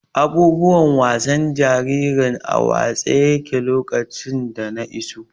Abubuwan wasan jaririn a watse yaƙe lokacin da na iso.